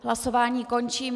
Hlasování končím.